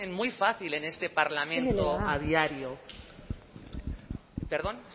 muy fácil en este parlamento a diario perdón